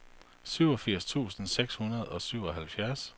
syvogfirs tusind seks hundrede og syvoghalvfjerds